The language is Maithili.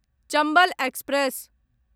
चम्बल एक्सप्रेस